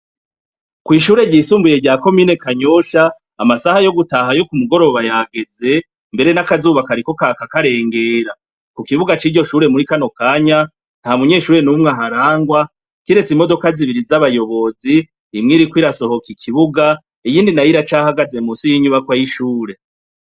Ku ishure ry'isumbuye rya komine Kanyosha, amasaha yo gutaha yo ku mugoroba yageze mbere n'akazuba kariko karaka karengera, ku kibuga ciryo shure muri kano kanya nta munyeshure numwe aharangwa kiretse imodoka zibiri z'abayobozi , imwe iriko irasohoka ikibuga iyindi iracahagaze munsi y'inyubakwa y'ishure.